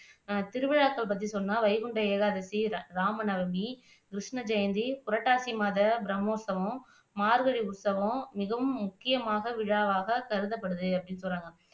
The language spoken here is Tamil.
திருவிழாக்கள் பற்றி சொன்னா வைகுண்ட ஏகாதேசி, ராம நவமி, கிருஸ்ன ஜெயந்தி, புரட்டாசி மாத பிரம்மோத்சவம், மார்கழி உற்சவம் மிகவும் முக்கியமாக விழாவாக கருதப்படுது அப்படின்னு சொல்றாங்க